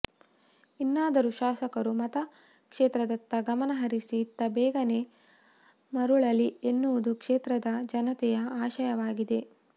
ಇನ್ನಾದರೂ ಶಾಸಕರು ಮತ ಕ್ಷೇತ್ರದತ್ತ ಗಮನ ಹರಿಸಿ ಇತ್ತ ಬೇಗನೆ ಮರಳಲಿ ಎನ್ನುವುದು ಕ್ಷೇತ್ರದ ಜನತೆಯ ಆಶಯವಾಗಿದೆ